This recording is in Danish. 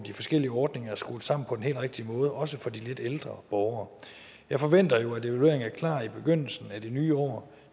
de forskellige ordninger er skruet sammen på den helt rigtige måde også for de lidt ældre borgere jeg forventer jo at evalueringen er klar i begyndelsen af det nye år